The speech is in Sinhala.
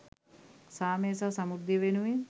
සාමය සහ සමෘද්ධිය වෙනුවෙන්